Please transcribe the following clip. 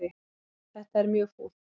Þetta er mjög fúlt.